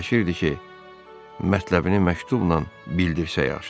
Fikirləşirdi ki, mətləbini məktubla bildirsə yaxşıdır.